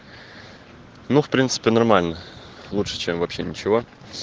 ну в принципе нормально лучше чем вообще ничего